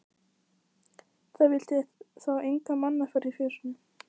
Það vildi þá enga mannaferð í fjósinu.